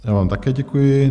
Já vám také děkuji.